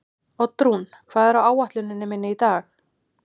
Oddrún, hvað er á áætluninni minni í dag?